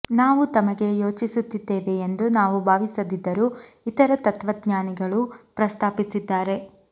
ನಾವು ತಮಗೆ ಯೋಚಿಸುತ್ತಿದ್ದೇವೆ ಎಂದು ನಾವು ಭಾವಿಸದಿದ್ದರೂ ಇತರ ತತ್ತ್ವಜ್ಞಾನಿಗಳು ಪ್ರಸ್ತಾಪಿಸಿದ್ದಾರೆ